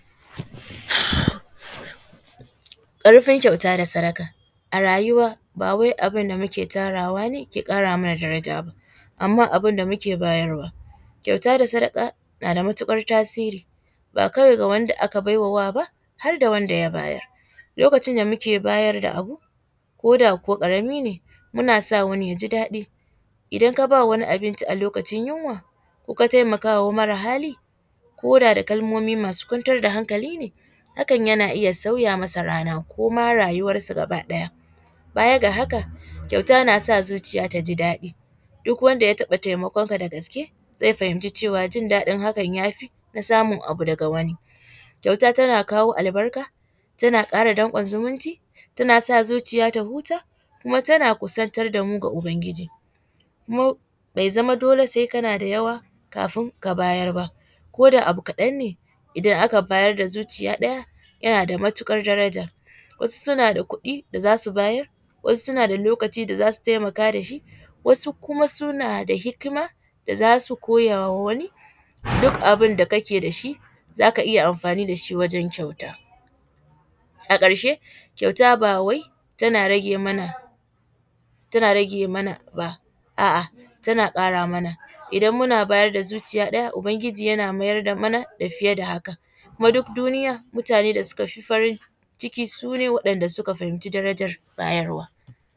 Ƙarfin kyauta da sadaka, a rayuwa ba wai abin da muke tarawa ne ke ƙara mana daraja ba amma abin da muke bayarwa. Kyauta da sadaka na da matuƙar tasiri ba kawai ga wanda aka baiwa wa ba, har da wanda ya bayar. Lokacin da muke bayar da abu ko da kuwa ƙara min ne muna sa wani ya ji daɗi. Idan ka ba wani abinci a lokacin yunwa ko ka taimakawa mara hali ko da da kalmomi masu kwantar da hankali ne hakan yana iya sauya masa rana ko ma rayuwarsa gaba ɗaya. Baya ga haka, kyauta na sa zuciya ta ji daɗi duk wanda ya taɓa taimakonka da gaske zai fahimci cewa jindaɗin hakan ya fi na samun abu daga wani. Kyauta tana kawo albarka, tana ƙara danƙon zumunci, tana sa zuciya ta huta kuma tana kusantar da mu ga Ubangiji. Kuma bai zama dole sai kana da yawa kafin ka bayar ba, ko da abu kaɗan ne idan aka bayar da zuciya ɗaya yana da matuƙar daraja, wasu suna da kuɗi da za su bayar, wasu suna da lokaci da za su taimaka da shi, wasu kuma suna da hikima da za su koya wa wani, duk abin da kake da shi za ka iya amfani da shi wajen kyauta. A ƙarshe, kyauta ba wai tana rage mana, tana rage man aba, a’a tana ƙara mana, idan muna bayar da zuciya ɗaya, Ubangiji yana mayar da mana da fiye da haka, kuma duk duniya mutanen da suka fi farin ciki su ne waɗanda suka fahimci darajan bayarwa.